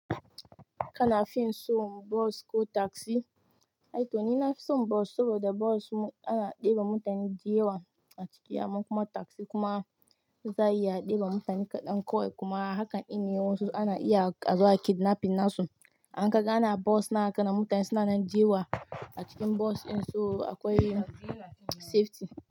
Kana fin so bus ko taxi? Aito ni nafison bus saboda bus ana ɗeba mutane da yewa a ciki, amman kuma taxi kuma za iya ɗeba mutane kaɗan kawai kuma hakan in ne wasu ana iya azo a yi kidnapping nasu. In ka ga ana bus nan haka na mutane suna nan deyewa a cikin bus in so akwai safety.